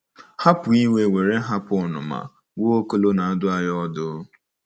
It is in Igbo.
Hapụ iwe were hapụ ọnụma," Nwaokolo na-adụ anyị ọdụ.